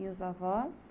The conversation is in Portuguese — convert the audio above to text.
E os avós?